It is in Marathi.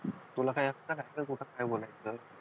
तुला काय काय बोलायचं?